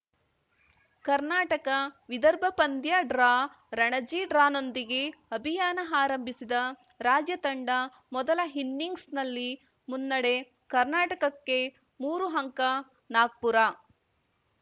ಕರ್ನಾಟಕವಿದರ್ಭ ಪಂದ್ಯ ಡ್ರಾ ರಣಜಿ ಡ್ರಾನೊಂದಿಗೆ ಅಭಿಯಾನ ಆರಂಭಿಸಿದ ರಾಜ್ಯ ತಂಡ ಮೊದಲ ಇನ್ನಿಂಗ್ಸ್‌ನಲ್ಲಿ ಮುನ್ನಡೆ ಕರ್ನಾಟಕಕ್ಕೆ ಮೂರು ಅಂಕ ನಾಗ್ಪುರ